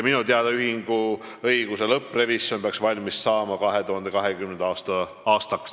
Minu teada peaks ühinguõiguse lõpprevisjon valmis saama 2020. aastaks.